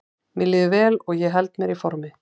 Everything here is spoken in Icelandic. Mér líður vel og ég held mér í formi.